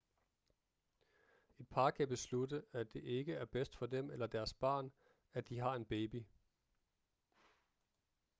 et par kan beslutte at det ikke er bedst for dem eller deres barn at de har en baby